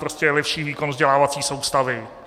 Prostě jako lepší výkon vzdělávací soustavy.